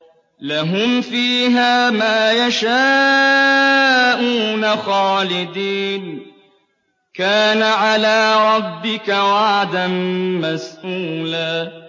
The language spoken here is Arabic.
لَّهُمْ فِيهَا مَا يَشَاءُونَ خَالِدِينَ ۚ كَانَ عَلَىٰ رَبِّكَ وَعْدًا مَّسْئُولًا